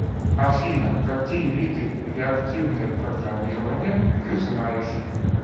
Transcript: афина какие виды реактивное программирование ты знаешь